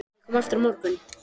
Má ég koma aftur á morgun?